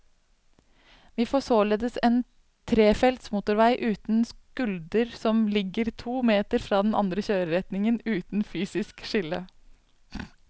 Vi får således en trefelts motorvei uten skulder som ligger to meter fra den andre kjøreretningen, uten fysisk skille.